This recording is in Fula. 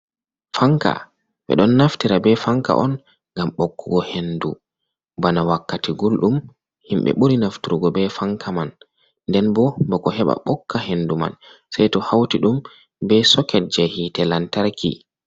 Fanka ɓe ɗon naftira be fanka on gam ɓokkugo hendu bana wakkati gulɗum himɓe ɓuri naftrgo be fanka man, nden bo bako heɓa ɓokka hendu man sei to hauti ɗum be soket je hite lantarki.